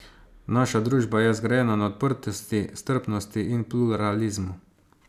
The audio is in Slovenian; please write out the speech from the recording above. Naša družba je zgrajena na odprtosti, strpnosti in pluralizmu.